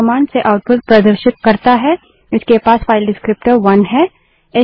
यह कमांड से आउटपुट प्रदर्शित करता है इसके पास फाइल डिस्क्रीप्टर विवरणक वन है